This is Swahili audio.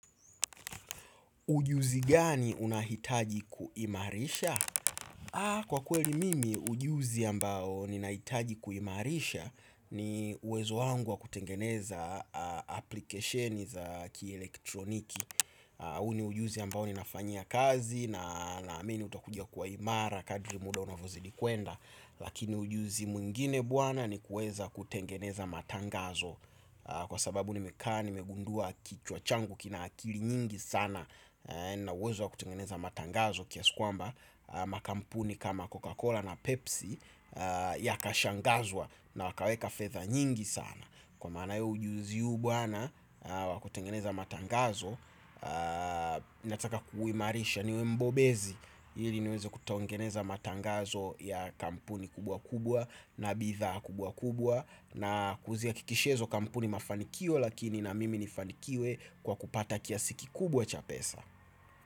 Ujuzi gani unahitaji kuimarisha? Kwa kweli mimi, ujuzi ambao ninahitaji kuimarisha ni uwezo wangu wa kutengeneza aplikesheni za kielektroniki. Huu ni ujuzi ambao ninafanyia kazi na naamini utakuja kuwa imara kadri muda unavyozidi kwenda. Lakini ujuzi mwingine bwana ni kuweza kutengeneza matangazo kwa sababu nimekaa nimegundua kichwa changu kina akili nyingi sana. Nina uwezo wa kutengeneza matangazo kiasi kwamba makampuni kama Coca-Cola na Pepsi yakashangazwa na wakaweka fedha nyingi sana. Kwa maanayo ujuzi huu bwana wa kutengeneza matangazo, nataka kuimarisha niwe mbobezi ili niweze kutengeneza matangazo ya kampuni kubwa kubwa na bidha kubwa kubwa na kuzihakikishia hizo kampuni mafanikio lakini na mimi nifanikiwe kwa kupata kiasi kikubwa cha pesa.